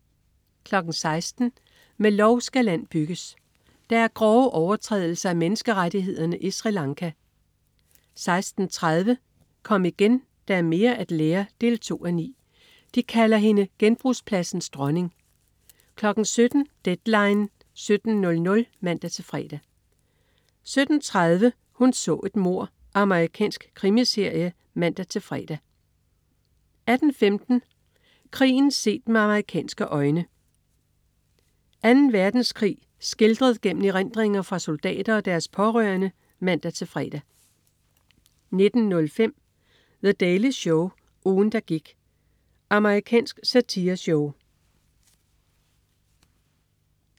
16.00 Med lov skal land bygges. Der er grove overtrædelser af menneskerettighederne i Sri Lanka 16.30 Kom igen, der er mere at lære 2:9. De kalder hende genbrugspladsens dronning 17.00 Deadline 17.00 (man-fre) 17.30 Hun så et mord. Amerikansk krimiserie (man-fre) 18.15 Krigen set med amerikanske øjne. Anden Verdenskrig skildret gennem erindringer fra soldater og deres pårørende (man-fre) 19.05 The Daily Show. Ugen, der gik.* Amerikansk satireshow